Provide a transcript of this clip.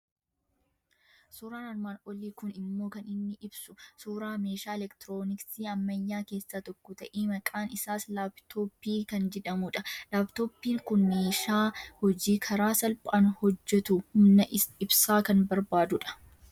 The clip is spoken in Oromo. Suuraan armaan olii kun inmoo kan inni ibsu suuraa meeshaa elektirooniksii ammayyaa keessaa tokko ta'e, maqaan isaa Laappitooppii kan jedhamudha. Laappitooppiin kun neeshaa hojii karaa salphaan hojjetu, humna ibsaa kan barbaadudha.